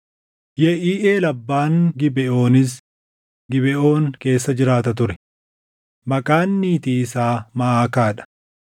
Yeʼiiʼeel abbaan Gibeʼoonis Gibeʼoon keessa jiraata ture; maqaan niitii isaa Maʼakaa dha.